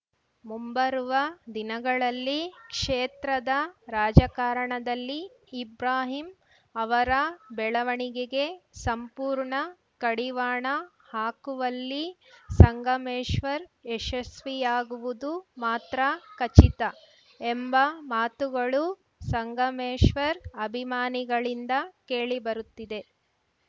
ಮುಂಬರುವ ದಿನಗಳಲ್ಲಿ ಕ್ಷೇತ್ರದ ರಾಜಕಾರಣದಲ್ಲಿ ಇಬ್ರಾಹಿಂ ಅವರ ಬೆಳವಣಿಗೆಗೆ ಸಂಪೂರ್ಣ ಕಡಿವಾಣ ಹಾಕುವಲ್ಲಿ ಸಂಗಮೇಶ್ವರ್‌ ಯಶಸ್ವಿಯಾಗುವುದು ಮಾತ್ರ ಖಚಿತ ಎಂಬ ಮಾತುಗಳು ಸಂಗಮೇಶ್ವರ್‌ ಅಭಿಮಾನಿಗಳಿಂದ ಕೇಳಿಬರುತ್ತಿದೆ